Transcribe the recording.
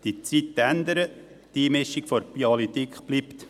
Die Zeiten ändern sich, die Einmischung der Politik bleibt.